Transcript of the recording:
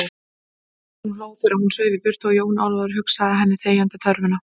Hún hló þegar hún sveif í burtu og Jón Ólafur hugsað henni þegjandi þörfina.